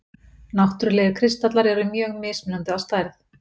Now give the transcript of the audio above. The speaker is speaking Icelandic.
Náttúrlegir kristallar eru mjög mismunandi að stærð.